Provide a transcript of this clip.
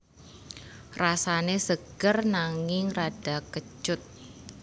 Rasane seger nanging rada kecut